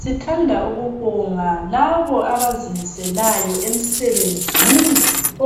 Sithanda ukubonga labo abazimiselayo emsebenzini